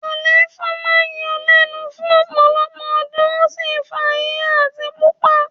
Àléfọ̀ máa ń yọ ọ́ lẹ́nu fún ọ̀pọ̀lọpọ̀ ọdún, ó sì ń fa híhá àti pupa